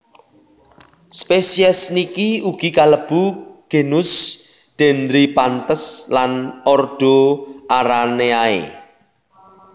Spesies niki ugi kalebu genus Dendryphantes lan ordo Araneae